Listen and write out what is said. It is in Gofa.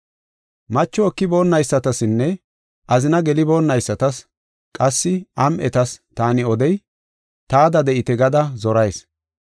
Macho ekiboonaysatasinne azina geliboonnaysatas qassi am7etas taani odey, taada de7ite gada zorayis.